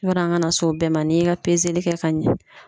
Yadɔ an ka na s'o bɛɛ ma, n'i ye ka kɛ ka ɲɛ